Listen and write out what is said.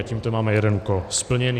A tímto máme jeden úkol splněný.